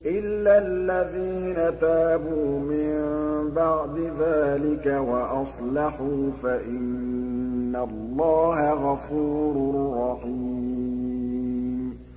إِلَّا الَّذِينَ تَابُوا مِن بَعْدِ ذَٰلِكَ وَأَصْلَحُوا فَإِنَّ اللَّهَ غَفُورٌ رَّحِيمٌ